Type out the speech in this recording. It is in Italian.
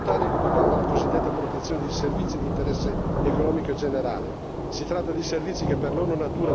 Infine un ultimo aspetto, da non sottovalutare, che riguarda la cosiddetta protezione dei servizi di interesse economico e generale.